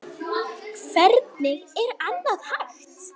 Hvernig er annað hægt?